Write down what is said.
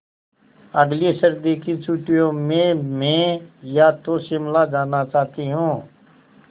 अगली सर्दी की छुट्टियों में मैं या तो शिमला जाना चाहती हूँ